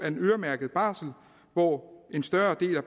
en øremærket barsel hvor en større del af